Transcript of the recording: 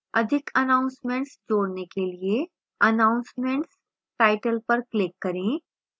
अधिक announcements जोड़ने के लिए announcements टाइटल पर click करें